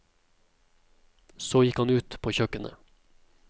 Så gikk han ut på kjøkkenet.